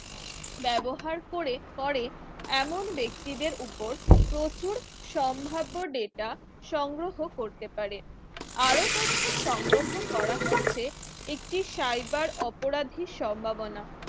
ব্যবহার করে করে এমন ব্যক্তিদের উপর প্রচুর সম্ভাব্য data সংগ্রহ করতে পারে আরো তথ্য সংগ্রহ করা হচ্ছে একটি cyber অপরাধীর সম্ভাবনা